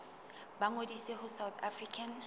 ba ngodise ho south african